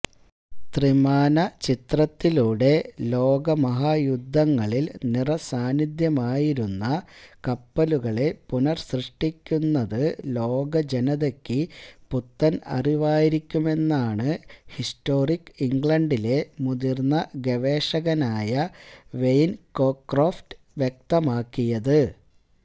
ത്രിമാനചിത്രത്തിലൂടെ ലോമഹായുദ്ധങ്ങളിൽ നിറസാന്നിധ്യമായിരുന്ന കപ്പലുകളെ പുനർസൃഷ്ടിക്കുന്നത് ലോകജനതയ്ക്ക് പുത്തൻ അറിവായിരിക്കുമെന്നാണ് ഹിസ്റ്റോറിക് ഇംഗ്ലണ്ടിലെ മുതിർന്ന ഗവേഷകനായ വെയിൻ കോക്രോഫ്റ്റ് വ്യക്തമാക്കിയത്